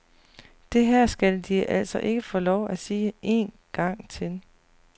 Det her skal de altså ikke få lov at sige én gang til.